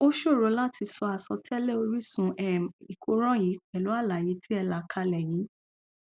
ó ṣòro láti sọ àsọtẹlẹ orísun um ìkóràn yìí pẹlú alàyé tí ẹ là kalẹ yìí